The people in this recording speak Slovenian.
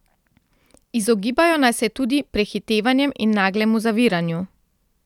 Izogibajo naj se tudi prehitevanjem in naglemu zaviranju.